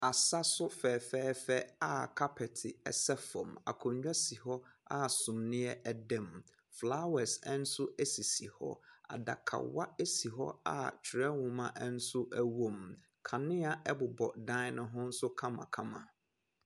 Asa so fɛfɛɛfɛ a kapɛte sɛ fam. Akonnwa si hɔ a summiɛ da mu. Flower nso sisi hɔ. Adawa si hɔ a twerɛhoma nso wɔ mu. Kanea nso bobɔ dan no ho kamakama.